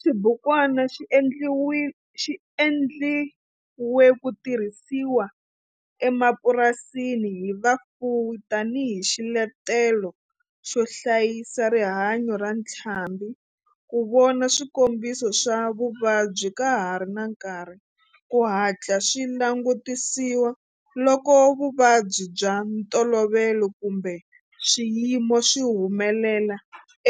Xibukwana xi endliwe ku tirhisiwa emapurasini hi vafuwi tani hi xiletelo xo hlayisa rihanyo ra ntlhambhi, ku vona swikombiso swa vuvabyi ka ha ri na nkarhi ku hatla swi langutisiwa loko vuvabyi bya ntolovelo kumbe swiyimo swi humelela